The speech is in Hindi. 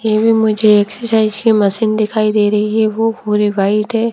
ये भी मुझे एक्सरसाइज की मशीन दिख रही है वो पूरे व्हाइट है।